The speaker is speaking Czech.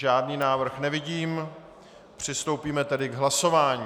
Žádný návrh nevidím, přistoupíme tedy k hlasování.